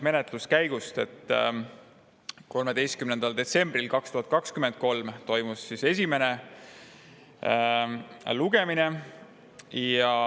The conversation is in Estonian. Menetluskäigu kohta nii palju, et 13. detsembril 2023 toimus esimene lugemine.